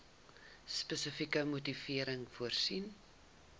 spesifieke motivering voorsien